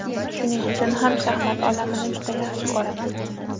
Shuning uchun ham shaxmat olamini juda yaxshi ko‘raman.